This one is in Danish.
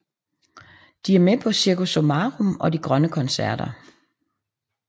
De er med på Cirkus Summarum og de Grønne Koncerter